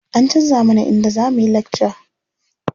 An canza mana inda za muyi lakca.